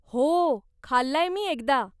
हो, खाल्लाय मी एकदा.